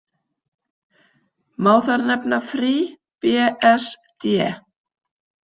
Má þar nefna FreeBSD.